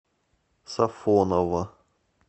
сафоново